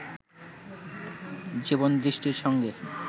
জীবনদৃষ্টির সঙ্গে